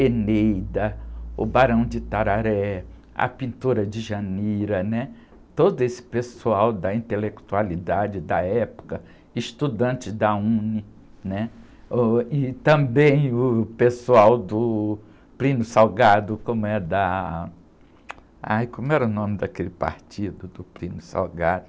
Eneida, o Barão de Itararé, a pintora Djanira, todo esse pessoal da intelectualidade da época, estudantes da UNE, né? Ôh, e também o pessoal do Plínio Salgado, como era, da... Ai, como era o nome daquele partido do Plínio Salgado?